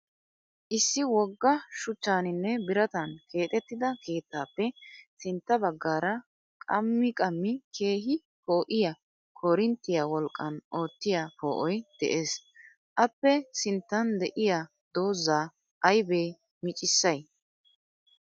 Issi wogga shuchchaaninne biratan keexxettida keettaappe sintta baggaara qammi qammi keehi poo'iya korinttiya wolqqan oottiya poo'oy des. Appe sinttan diya doozaa ayibe micissay?